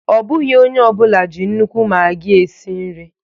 Ọ bụghị onye ọ bụla ji nnukwu maggi esi nri